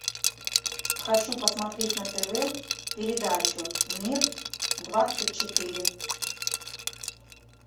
хочу посмотреть на тв передачу мир двадцать четыре